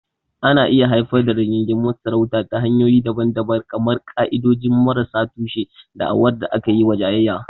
Ana iya haifar da rigingimun sarauta ta hanyoyi daban-daban kamar ƙa'idodi marasa tushe, da'awar da aka yi jayayya.